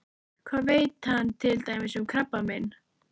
Hvað veit hann til dæmis um krabbamein?